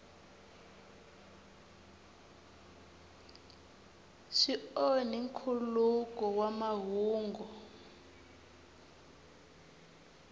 swi onhi nkhuluko wa mahungu